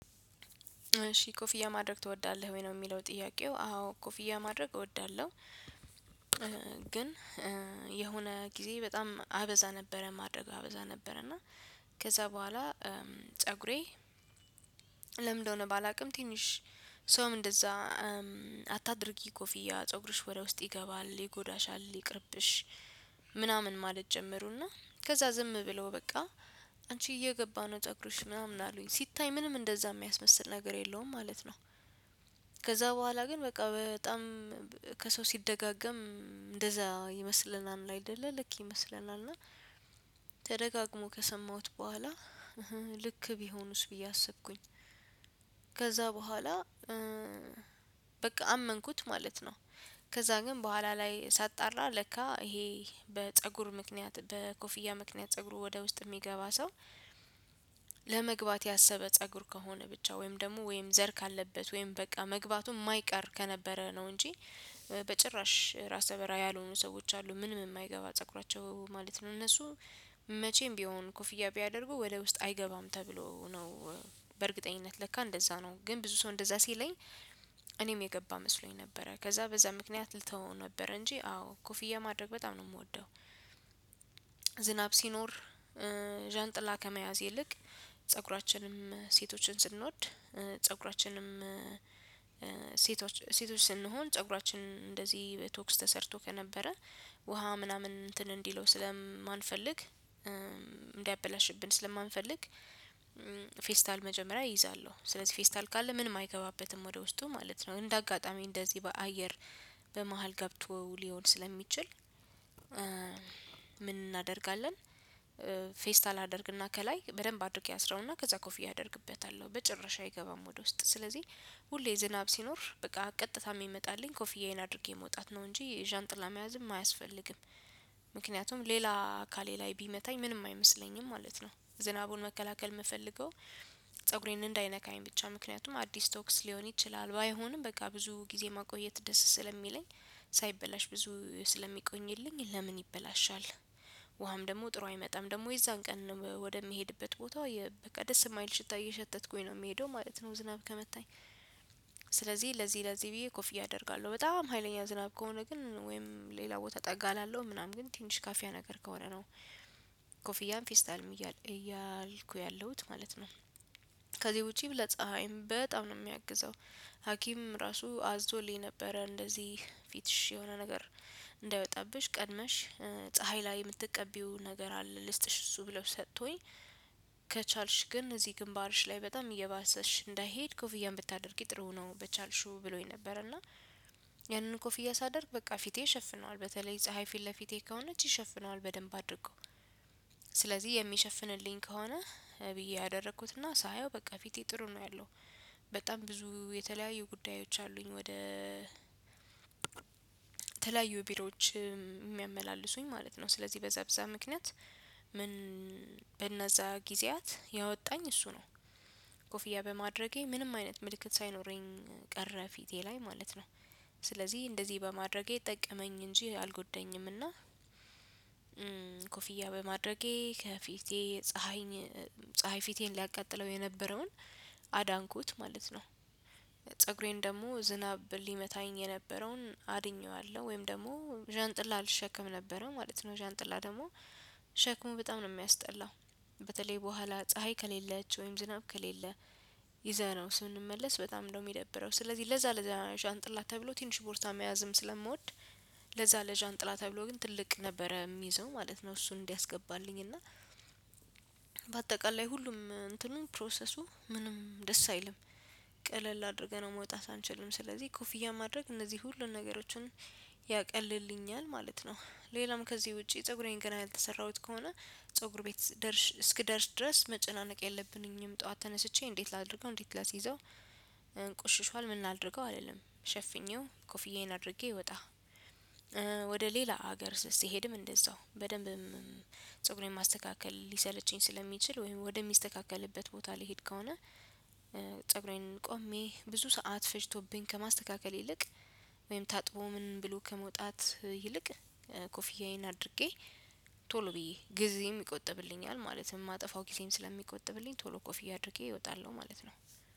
እሺ ኮፍያ ማድረግ ትወዳለህ? ወይ ነው የሚለው ጥያቄው አዎ ኮፍያ ማድረግ እወዳለሁ። ግን የሆነ ጊዜ በጣም አበዛ ነበረ ማድረግ አበዛ ነበረ እና ከዛ በኋላ ፀጉሬ ለምንድነው ባላውቅም ትንሽ ሰውም እንደዛ ኧ አታድርጊ ኮፊያ ፀጉርሽ ወደ ውስጥ ይገባል፣ ይጎዳሻል፣ ይቅርብሽ፣ ምናምን ማለት ጀመሩና ከዛ ዝም ብለው በቃ አንቺ እየገባ ፀጉርሽ ምናምን አሉኝ ሲታይ ምንም እንደዛ የሚያስመስል ነገር የለውም ማለት ነው። ከዛ በኋላ ግን በቃ በጣም ከሰው ሲደጋገም እንደዛ ይመስለናል አይደለ ልክ ይመስለናል እና ተደጋግሞ ከሰማሁት በኋላ ልክ ቢሆኑስ ብዬ አስብኩኝ። ከዛ በኋላ እ እም በቃ አመንኩት ማለት ነው። ከዛ ግን በኃላ ላይ ሳጣራ ለካ ይሄ በፀጉር ምክንያት በኮፍያ ምክንያት ፀጉር ወደ ውስጥ የሚገባ ሰው ለመግባት ያሰበ ፀጉር ከሆነ ብቻ ወይም ደግሞ ወይም ዘር ካለበት ወይም በቃ መግባቱን የማይቀር ከነበረ ነው እንጂ በጭራሽ ራስ በርሃ ያልሆኑ ሰዎች አሉ ምንም የማይገባ ፀጉራቸው ማለት ነው። እነሱ መቼም ቢሆን ኮፍያ ቢያደርጉ ወደ ውስጥ አይገባም ተብሎ ነው። በእርግጠኝነት ለካ እንደዛ ነው ግን ብዙ ሰው እንደዛ ሲለኝ እኔም የገባ መስሎኝ ነበረ ከዛ በዛ ምክንያት ልተወው ነበረ እንጂ አዎ ኮፍያ ማድረግ በጣም ነው የምወደው። ዝናብ ሲኖር እ ዣንጥላ ከመያዝ ይልቅ ፀጉራችንም ሴቶችን ስንወድ ፀጉራችንም እ ሴቶች ስንሆን ፀጉራችን እንደዚህ በቶክስ ተሰርቶ ከነበረ ውሃ ምናምን እንትን እንዲለው ስለማንፈልግ እንዲያበላሽብን ስለማንፈልግ ፌስታል መጀመሪያ ይይዛለሁ ስለዚህ ፌስታል ካለ ምንም አይገባበትም ወደ ውስጡ ማለት ነው። እንደ አጋጣሚ እንደዚህ በአየር በመሃል ገብቶ ሊሆን ስለሚችል ምን እናደርጋለን ፌስታል አደርግና ከላይ በደንብ አድርጌ አስረውና ከዛ ኮፊ አደርግበታለሁ። በጭረሽ አይገባም ወደ ውስጥ ስለዚህ ሁሌ ዝናብ ሲኖር በቃ ቀጥታ የሚመጣልኝ ኮፍያዬን አድርጌ መውጣት ነው እንጂ የዣንጥላ መያዝም አያስፈልግም። ምክንያቱም ሌላ አካሌ ላይ ቢመታኝ ምንም አይመስለኝም ማለት ነው። ዝናቡን መከላከል የምፈልገው ፀጉሬን እንዳይነካኝ ብቻ ምክንያቱም አዲስ ቶክስ ሊሆን ይችላል። ባይሆንም በቃ ብዙ ጊዜ ማቆየት ደስ ስለሚለኝ ሳይበላሽ ብዙ ስለሚቆኝልኝ ለምን ይበላሻል። ውሃም ደግሞ ጥሩ አይመጣም ደግሞ የዛን ቀን ወደምሄድበት ቦታ በቃ ደስ የማይል ሽታ እየሸተትኩኝ ነው የምሄደው ማለት ነው ዝናብ ከመታኝ። ስለዚህ ለዚህ ለዚህ ብዬ ኮፊያ አደርጋለሁ። በጣም ሀይለኛ ዝናብ ከሆነ ግን ወይም ሌላ ቦታ ጠጋ እላለውም ምናምን ግን ትንሽ ካፊያ ነገር ከሆነ ነው። ኮፍያም ፌስታልም እያልኩ ያለሁት ማለት ነው። ከዚህ ውጪ ለፀሀይም በጣም ነው የሚያግዘው። ሀኪም ራሱ አዞልኝ ነበረ። እንደዚህ ፊትሽ የሆነ ነገር እንዳይወጣብሽ ቀድመሽ ፀሀይ ላይ የምትቀቢው ነገር አለ ልስጥሽ እሱ ብለው ሰጥቶኝ። ከቻልሽ ግን እዚህ ግንባርሽ ላይ በጣም እየባሰሽ እንዳይሄድ ኮፍያም ብታደርጊ ጥሩ ነው በቻልሽው ብሎኝ ነበር እና ያንን ኮፍያ ሳደርግ በቃ ፊቴ ሸፍነዋል በተለይ ፀሀይ ፊት ለፊቴ ከሆነች ይሸፍነዋል በደንብ አድርጎ ስለዚህ የሚሸፍንልኝ ከሆነ ብዬ አደረኩትና ሳየው በቃ ፊቴ ጥሩ ነው ያለው በጣም ብዙ የተለያዩ ጉዳዮች አሉኝ ወደ ተለያዩ ቢሮዎች የሚያመላልሱኝ ማለት ነው ስለዚህ በዛ በዛ ምክንያት ምን በነዛ ጊዜያት ያወጣኝ እሱ ነው። ኮፍያ በማድረጌ ምንም አይነት ምልክት ሳይኖረኝ ቀረ ፊቴ ላይ ማለት ነው። ስለዚህ እንደዚህ በማድረጌ ጠቀመኝ እንጂ አልጎደኝምና እና ኮፊያ በማድረጌ ከፊቴ ፀሀይ ፀሀይ ፊቴን ሊያቃጥለው የነበረውን አዳንኩት ማለት ነው። ፀጉሬን ደግሞ ዝናብ ሊመታኝ የነበረውን አድኜዋለሁ ወይም ደግሞ ዣንጥላ አልሸከም ነበረም ማለት ነው ዣንጥላ ደግሞ ሸክሙ በጣም ነው የሚያስጠላው። በተለይ በኋላ ፀሀይ ከሌለች ወይም ዝናብ ከሌለ ይዘነው ስንመለስ በጣም ነው የሚደብረው ስለዚህ ለዛ ለዛ ዣንጥላ ተብሎ ትንሽ ቦርሳ መያዝም ስለምወድ ለዛ ለዣንጥላ ተብሎ ግን ትልቅ ነበረ የሚይዘው ማለት ነው እሱን እንዲያስገባልኝ እና በአጠቃላይ ሁሉም እንትኑን ፕሮሰሱ ምንም ደስ አይልም ቀለል አድርገነው መውጣት አንችልም ስለዚህ ኮፍያ ማድረግ እነዚህ ሁሉን ነገሮችን ያቀልልኛል ማለት ነው ሌላም ከዚህ ውጪ ፀጉሬን ገና ያልተሰራሁት ከሆነ ፀጉር ቤት እስኪደርስ ድረስ መጨናነቅ የለብኝም። ጠዋት ተነስቼ እንዴት ላድርገው እንዴት ላስይዘው እም ቁሽሽዋል ምን ላድርገው አልልም። ሸፍኜው ኮፍዬን አድርጌ እወጣለሁ። ወደ ሌላ ሀገር ስሄድም እንደዛው፤ በደንብም ፀጉሬን ማስተካከል ሊሰለችኝ ስለሚችል፤ ወይም ወደሚስተካከልበት ቦታ ልሄድ ከሆነ ፀጉሬን ቆሜ ብዙ ሰዓት ፈጅቶብኝ ከማስተካከል ይልቅ ወይም ታጥቦ ምን ብሎ ከመውጣት ይልቅ ኮፍያዬን አድርጌ ቶሎ ብዬ ጊዜም ይቆጥብልኛል ማለት ነው። የማጠፋው ጊዜም ስለሚቆጥብልኝ ቶሎ ኮፍ አድርጌ እወጣለሁ ማለት ነው።